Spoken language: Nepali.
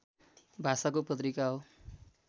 भाषाको पत्रिका हो